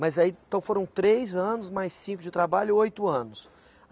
Mas aí, então foram três anos, mais cinco de trabalho, oito anos.